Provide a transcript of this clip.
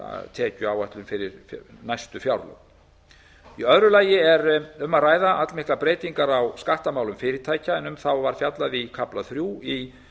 tekjuáætlun fyrir næstu fjárlög í öðru lagi er um að ræða allmiklar breytingar á skattamálum fyrirtækja en um þá var fjallað í kafla þrjú í